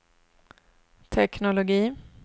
teknologi